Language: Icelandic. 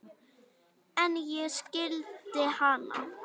En ég skildi hana.